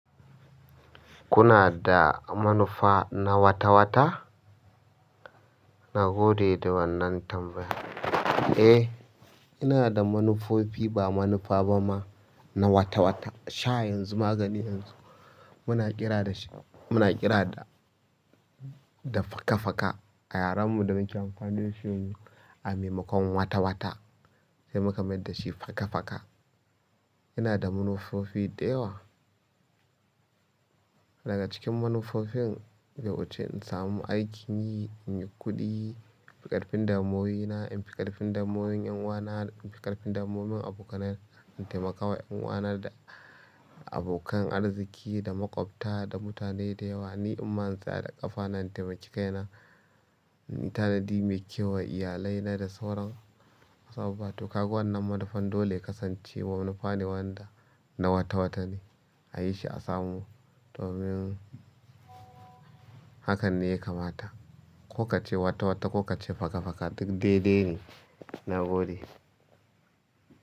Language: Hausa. Kuna da manufa na wata-wata? Na gode da wannan tambayar. Eh, ina da manufofi ba manufa ba ma na wata-wata. Sha yanzu magani yanzu, muna kira da sh-- muna kira da, da faka-faka a yaren mu da muke amfanin shi a maimakon wata-wata, sai muka mai dashi faka-faka. Ina da manufofi da yawa. Daga cikin manufofin, yau ace in samu aikin yi, in yi kuɗi, in fi ƙarfin damuwoyina, in fi ƙarfin damuwan 'yan uwana, in fi ƙarfin damuwan abokanai, in taimakawa 'yan uwana da abokan arziki da maƙwabta da mutane da yawa, ni ɗin ma in tsaya da ƙafana, in taimaki kaina. In yi tanadi mai kyau wa iyalina da sauran wasu abubuwa. To kaga wannan manufan dole ya kasance manufa ne wanda na wata-wata ne a yi shi, a samu domin hakan ne ya kamata. Ko ka ce wata-wata ko ka ce faka-faka duk dai-dai ne, na gode.